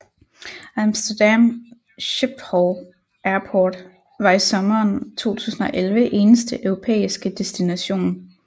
Amsterdam Schiphol Airport var i sommeren 2011 eneste europæiske destination